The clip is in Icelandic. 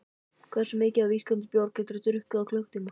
Hversu mikið af ísköldum bjór getur þú drukkið á klukkutíma?